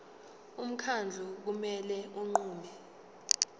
umkhandlu kumele unqume